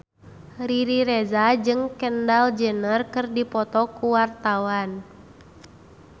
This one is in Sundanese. Riri Reza jeung Kendall Jenner keur dipoto ku wartawan